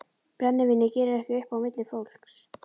Brennivínið gerir ekki upp á milli fólks.